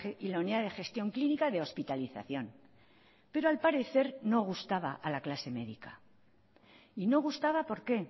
y la unidad de gestión clínica de hospitalización pero al parecer no gustaba a la clase médica y no gustaba por qué